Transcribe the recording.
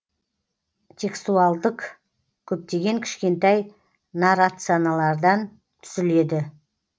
текстуалдік көптеген кішкентай наррацианалардан түзіледі